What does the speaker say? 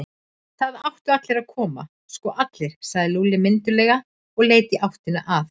Það áttu allir að koma, sko allir, sagði Lúlli mynduglega og leit í áttina að